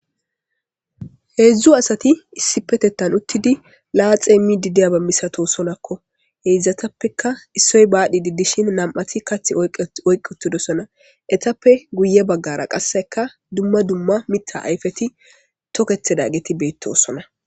Heedzdzu asati issipetettan uttidi laaxemiidi diyaba masatoosonako ; heedzdzatape issoy baridi dishin nam'ati kaththa oyqqi uttidosona. Eetappe guye baggara qasseka dumma dumma miththa ayfeti toketidageti beetosona.